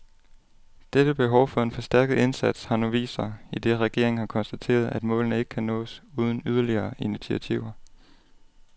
Dette behov for en forstærket indsats har nu vist sig, idet regeringen har konstateret, at målene ikke kan nås uden yderligere initiativer.